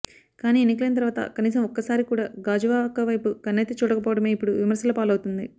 కానీ ఎన్నికలైన తర్వాత కనీసం ఒక్కసారి కూడా గాజువాక వైపు కన్నెత్తిచూడకపోవడమే ఇప్పుడు విమర్శలపాలవుతోంది